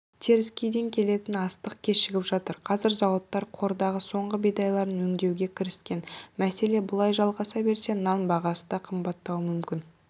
теріскейден келетін астық кешігіп жатыр қазір зауыттар қордағы соңғы бидайларын өңдеуге кіріскен мәселе бұлай жалғаса берсе нан бағасы да қымбаттауы мүмкін